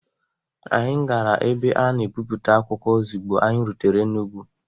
Anyị gara ebe ana ebipụta akwụkwọ ozigbo anyị rutere Enugwu.